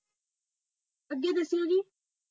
ਅੱਗੇ ਦੱਸਿਓ ਜੀ